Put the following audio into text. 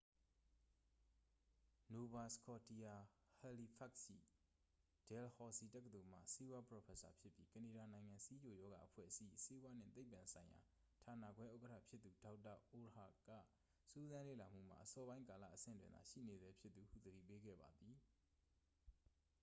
nova scotia halifax ရှိ dalhousie တက္ကသိုလ်မှ ဆေးဝါးပရော်ဖက်ဆာဖြစ်ပြီး ကနေဒါနိုင်ငံ ဆီးချိုရောဂါအဖွဲ့အစည်း၏ ဆေးဝါးနှင့်သိပ္ပံဆိုင်ရာဌာနခွဲဥက္ကဌဖြစ်သူ ဒေါက်တာ အုဒ်အာက စူးစမ်းလေ့လာမှုမှာ အစောပိုင်းကာလ အဆင့်တွင်သာ ရှိနေဆဲဖြစ်သူဟု သတိပေးခဲ့ပါသည်